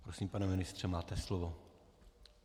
Prosím, pane ministře, máte slovo.